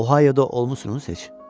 Ohaioya olmuşsunuz heç?